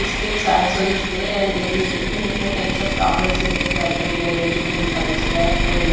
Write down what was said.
Biscuits also is there and there is different different types of chocolates is there. Cadbury dairy milk and five star and --